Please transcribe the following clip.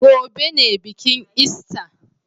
Gobe ne bikin ista.